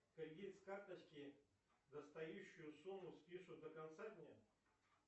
кредит с карточки достающую сумму спишут до конца дня